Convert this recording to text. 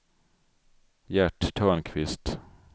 Gert Törnqvist